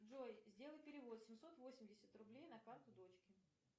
джой сделай перевод семьсот восемьдесят рублей на карту дочки